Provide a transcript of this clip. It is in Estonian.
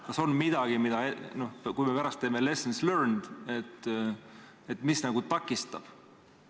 Kas on midagi, mis – kui me pärast teeme lessons learned – nagu takistab teie tööd?